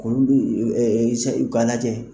Kolu Isa u kan lajɛ.